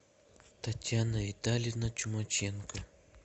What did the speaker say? татьяна витальевна чумаченко